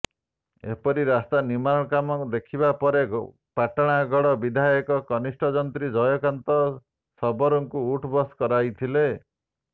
ଏପରି ରାସ୍ତା ନିର୍ମାଣ କାମ ଦେଖିବା ପରେ ପାଟଣାଗଡ ବିଧାୟକ କନିଷ୍ଠ ଯନ୍ତ୍ରୀ ଜୟକାନ୍ତ ଶବରଙ୍କୁ ଉଠବସ୍ କରାଇଥିଲେ